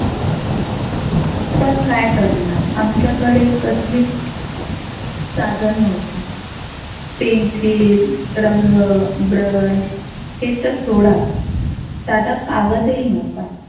पण काय करणार आमच्याकडे कसलीच साधन नव्हते. pencile रंग brush ते तर सोडाच साधा कागद ही नव्हता.